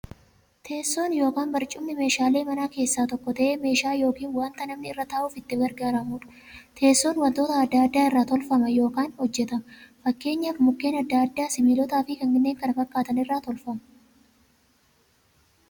Teessoon yookiin barcumni meeshaalee manaa keessaa tokko ta'ee, meeshaa yookiin wanta namni irra ta'uuf itti gargaaramuudha. Teessoon wantoota adda addaa irraa tolfama yookiin hojjatama. Fakkeenyaf Mukkeen adda addaa, sibilootaafi kanneen kana fakkaatan irraa tolfamu.